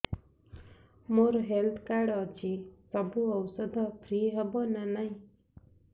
ମୋର health card ଅଛି ସବୁ ଔଷଧ ଫ୍ରି ହବ ନା ନାହିଁ